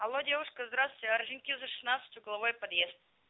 алло девушка здравствуйте орджоникидзе шестнадцать угловой подъезд